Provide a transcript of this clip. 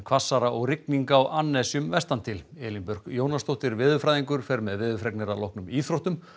hvassara og rigning á vestantil Elín Björk Jónasdóttir veðurfræðingur fer með veðurfregnir að loknum íþróttum